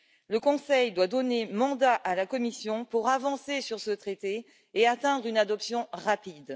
Le Conseil doit donner mandat à la Commission pour avancer sur ce traité et parvenir à une adoption rapide.